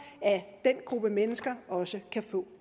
at den gruppe mennesker også kan få